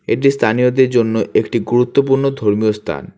এটি স্থানীয়দের জন্য একটি গুরুত্বপূর্ণ ধর্মীয় স্থান।